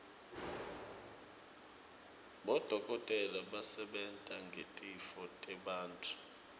bodokotela basebenta ngetitfo tebantfu